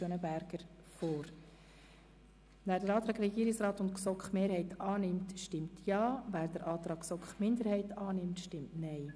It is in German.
Wer den Antrag Regierungsrat/GSoK-Mehrheit annimmt, stimmt Ja, wer den Antrag GSoK-Minderheit annimmt, stimmt Nein.